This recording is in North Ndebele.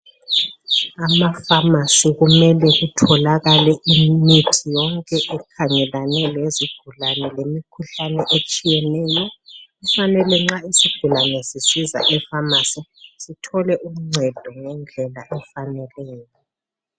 AmaFamasi kumele kutholakale imithi yonke ekhangelane lezigulane lemikhuhlane etshiyeneyo kufanele nxa isigulane sisiza efamasi sithole ungcedo ngendlela efaneleyo.